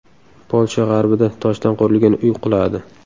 Polsha g‘arbida toshdan qurilgan uy quladi.